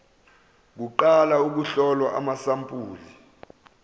kuqala ukuhlolwa kwamasampuli